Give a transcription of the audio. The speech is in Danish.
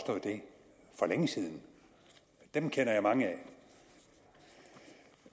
længe siden dem kender jeg mange af